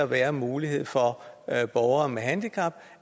være mulighed for at borgere med handicap